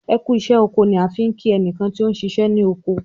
"ẹkú iṣẹ oko" ni a fí nki ẹnikan ti ọ ṣiṣẹ ni oko